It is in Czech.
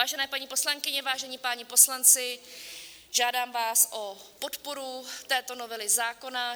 Vážené paní poslankyně, vážení páni poslanci, žádám vás o podporu této novely zákona.